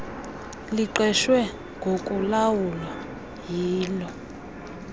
liqeshwe ngokulawula yilo